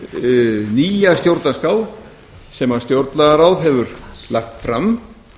um nýja stjórnarskrá sem stjórnlagaráð hefur lagt fram